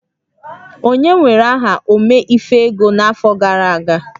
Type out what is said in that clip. Onye were aha Ome-ife-ego n'afọ gara aga?